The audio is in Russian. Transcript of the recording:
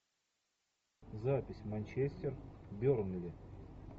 запись манчестер бернли